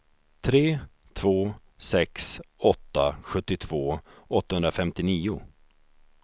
tre två sex åtta sjuttiotvå åttahundrafemtionio